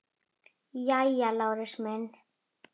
Jæja, Lárus minn.